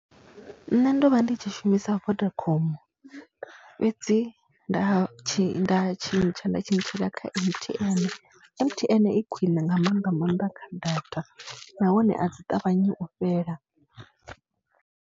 Nṋe ndo vha ndi tshi shumisa Vodacom fhedzi nda tshi nda tshintsha nda tshintshela kha M_T_N. M_T_N i khwiṋe nga maanḓa maanḓa kha data nahone a dzi ṱavhanyi u fhela.